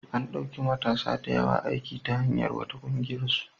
An ɗauki matasa da yawa aiki ta hanyar wata ƙungiyarsu.